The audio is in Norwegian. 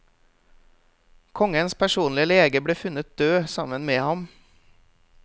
Kongens personlige lege ble funnet død sammen med ham.